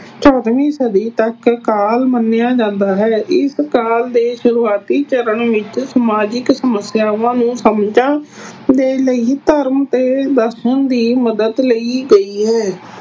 ਚੌਦਵੀਂ ਸਦੀ ਤੱਕ ਕਾਲ ਮੰਨਿਆ ਜਾਂਦਾ ਹੈ ਇਸ ਕਾਲ ਦੇ ਸ਼ੁਰੂਆਤੀ ਚਰਨ ਵਿੱਚ ਸਮਾਜਿਕ ਸਮੱਸਿਆਵਾਂ ਨੂੰ ਸਮਝਣ ਦੇ ਲਈ ਧਰਮ ਤੇ ਦਾਸਾਂ ਦੀ ਮਦਦ ਲਈ ਗਈ ਹੈ।